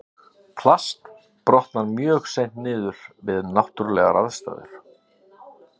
Plast brotnar mjög seint niður við náttúrulegar aðstæður.